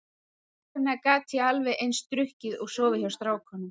Þess vegna gat ég alveg eins drukkið og sofið hjá strákum.